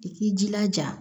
I k'i jilaja